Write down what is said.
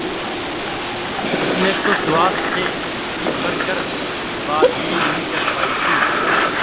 उसने तो सुहास से जी भर कर बात भी नहीं कर पाई थी